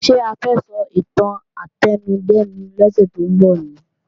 Ṣé a fẹ́ sọ ìtàn átẹnudẹ́nu lọ́sẹ̀ tó ń bọ̀ ni?